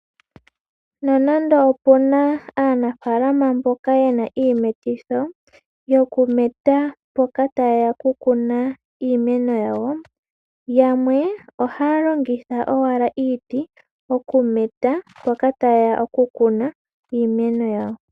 Nonando opuna aanafaalama mboka ye na iimetitho yoku meta mpoka taye ya oku kuna iimeno yawo, yamwe ohaya longitha owala iiti okumeta mpoka tayeya oku kuna iimeno yawo.